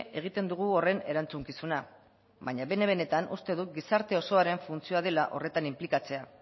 egiten dugu horren erantzukizuna baina bene benetan uste dut gizarte osoaren funtzioa dela horretan inplikatzea